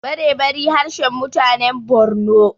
barebari harshen mutanen Borno